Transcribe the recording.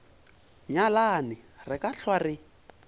nyalane re ka hlwa re